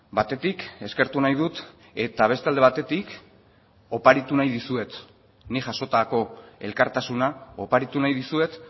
batetik eskertu nahi dut eta beste alde batetik oparitu nahi dizuet nik jasotako elkartasuna oparitu nahi dizuet